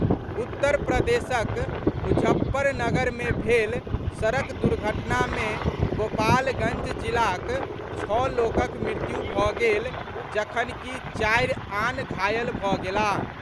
उत्तर प्रदेशक मुजफ्फरनगर मे भेल सड़क दुर्घटना मे गोपालगंज जिलाक छओ लोकक मृत्यु भऽ गेल जखनकि चारि आन घायल भऽ गेलाह।